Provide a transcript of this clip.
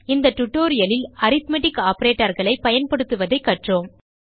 இந்த tutorialலில் அரித்மெட்டிக் operatorகளை பயன்படுத்துவதைக் கற்றோம்